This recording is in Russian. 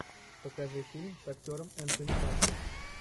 покажи фильм с актером энтони маки